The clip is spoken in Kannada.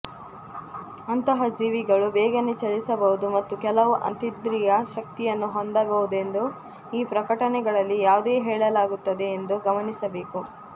ಅಂತಹ ಜೀವಿಗಳು ಬೇಗನೆ ಚಲಿಸಬಹುದು ಮತ್ತು ಕೆಲವು ಅತೀಂದ್ರಿಯ ಶಕ್ತಿಯನ್ನು ಹೊಂದಬಹುದೆಂದು ಈ ಪ್ರಕಟಣೆಗಳಲ್ಲಿ ಯಾವುದೇ ಹೇಳಲಾಗುತ್ತದೆ ಎಂದು ಗಮನಿಸಬೇಕು